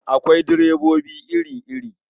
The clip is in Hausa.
Akwai direbobi iri-iri.